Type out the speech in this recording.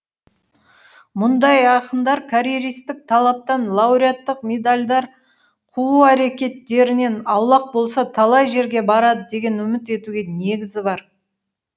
мұндай ақындар карьеристік талаптан лауреаттық медальдар қуу әрекеттерінен аулақ болса талай жерге барады деген үміт етуге негіз бар